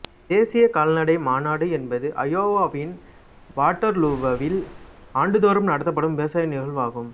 தேசிய கால்நடை மாநாடு என்பது அயோவாவின் வாட்டர்லூவில் ஆண்டுதோறும் நடத்தப்படும் விவசாய நிகழ்வாகும்